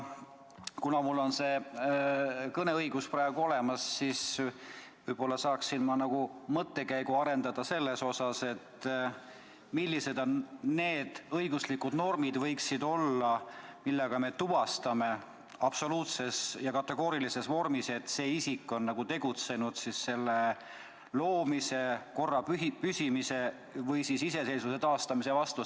Kuna mul on praegu kõne õigus, siis võib-olla ma saaksin arendada mõttekäiku selle kohta, millised võiksid olla need õiguslikud normid, millega me tuvastame absoluutses ja kategoorilises vormis, et see isik on tegutsenud riigi loomise, korra püsimise või siis iseseisvuse taastamise vastu.